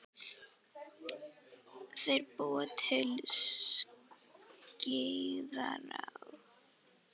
Þeir búa til Skeiðará.